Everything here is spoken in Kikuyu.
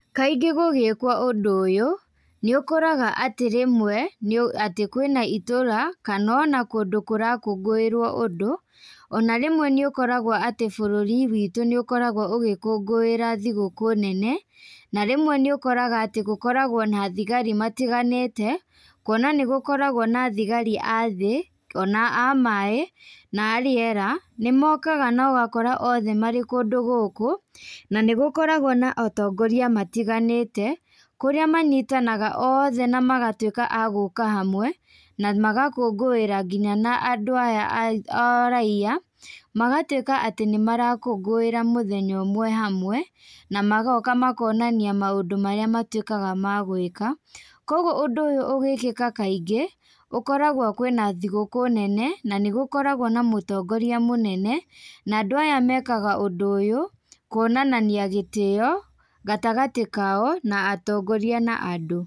Kaingĩ gũgĩkwo ũndũ ũyũ, nĩũkoraga atĩ rĩmwe, nĩ atĩ kwĩna itũra, kanona kũndũ kũrakũngũĩrwo ũndũ, ona rĩmwe nĩũkoragwo tĩ bũrũri witũ nĩũkoragwo ũgĩkũngũĩra thigũkũ nene, na rĩmwe nĩũkoraga atĩ gũkoragwo na thigari matiganĩte, kuona nĩgũkoragwo na thigari a thĩĩ, ona a maĩ, na a rĩera, nĩmokaga nogakora othe marĩ kũndũ gũkũ, nanĩgũkoragwo na atongoria matiganĩte, kurĩa manyitanaga othe na magatwĩka agũka hamwe, na magakũngũĩra nginya na andũ aya aah araia, magatwĩka atĩ nĩmarakũngũĩra mũthenya ũmwe hamwe, na magoka makonania maũndũ marĩa matwĩkaga a gwĩka, koguo ũndũ ũyũ ũgĩkĩka kaingĩ, gũkoragwo kwína thigũkũ nene, na nĩgũkoragwo na mũtongoria mũnene, na andũ aya mekaga ũndũ ũyũ, kuonania gĩtĩo, gatagatĩ kao na atongoria na andũ.